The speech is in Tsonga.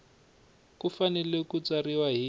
ku fanele ku tsariwa hi